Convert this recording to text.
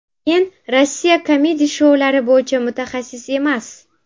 Men Rossiya kamedi-shoulari bo‘yicha mutaxassis emas.